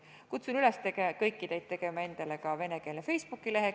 Kutsun üles teid kõiki tegema endale ka venekeelne Facebooki lehekülg.